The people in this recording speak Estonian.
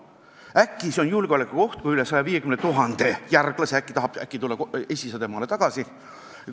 Äkki on see julgeolekuoht, kui üle 150 000 järglase tahab äkki tulla esiisade maale tagasi.